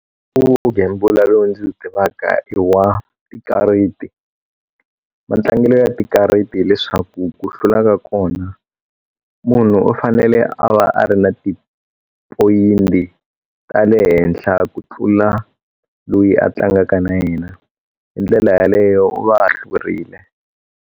U gembula lowu ndzi wu tivaka i wa tikariti mantlangelo ya tikariti hileswaku ku hlula ka kona munhu u fanele a va a ri na ti-point ta le henhla ku tlula loyi a tlangaka na yena hi ndlela yaleyo u va a hlurile.